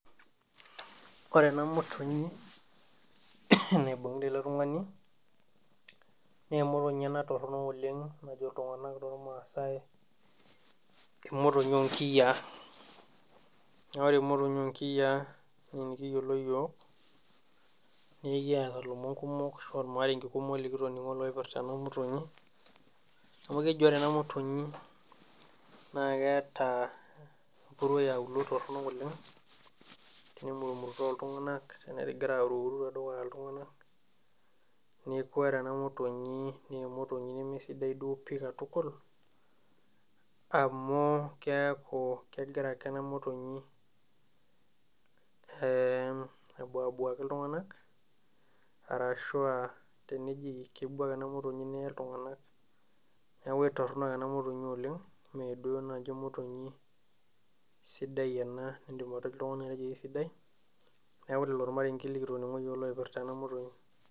Ore ena motonyi naibung'ita ele tung'ani, nemotonyi ena torronok oleng najo iltung'anak tormaasai emotonyi onkiyiaa. Na ore emotonyi onkiyiaa enenikiyiolo yiok, nekiata lomon kumok ashu ormaarenke kumok likitoning'o loipirta ena motonyi, amu keji ore ena motonyi na keeta empuruo eauluo torronok oleng, tenemumurutoo iltung'anak tenegira aruru tedukuya iltung'anak, neeku ore ena motonyi ne motonyi nemesidai duo pi katukul, amu keeku kegira ake ena motonyi abuabuaki iltung'anak, arashua teneji kebuak ena motonyi neye iltung'anak, neeku aitorrono ena motonyi oleng, meduo nai emotonyi sidai ena nidim oltung'ani atejo kisidai, neeku lelo irmarenken likitoning'o yiok loipirta ena motonyi.